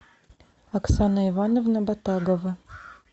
оксана ивановна батагова